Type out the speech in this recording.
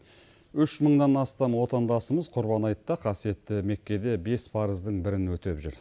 үш мыңнан астам отандасымыз құрбан айтта қасиетті меккеде бес парыздың бірін өтеп жүр